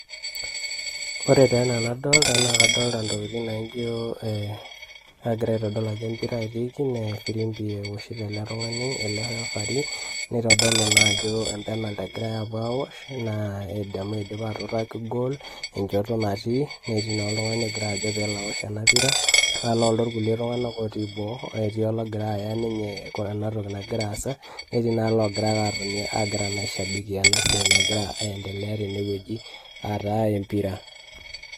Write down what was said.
Ore taa ena nadolta naa kadolta ntokitin naijo ee kagira aitodol ajo empira etiiki nee efirimbi ewoshito ele tung'ani ele refarii, nitodolu naa ajo empenalt egirai aapuo aawosh naa edamu idipa aatutaki engoal enjoto natii netii naa oltung'ani ogira ajo peelo awosh ena pira naa nooldo irkulie tung'anak otii boo, eti olagira aya ninye ena toki nagira aasa netii naa logira ake atoni agira naa aishabikia ena siai nagira aiendelea tene wueji aa taa empira.